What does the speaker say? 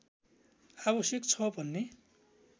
आवश्यक छ भन्ने